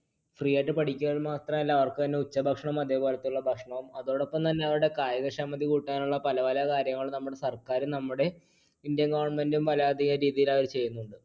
free ആയിട്ട് പഠിക്കുവാൻ മാത്രമല്ല അവർക്കു ഉച്ചഭക്ഷണം അതേപോലെതെയുള്ള ഭക്ഷണം. അതോടൊപ്പം തന്നെ അവരുടെ കായികക്ഷമതി കൂട്ടാനുള്ള പല പല കാര്യങ്ങൾ നമ്മുടെ സർക്കാരും നമ്മുടെ Indian government ഉം ചെയ്യുന്നുണ്ട്.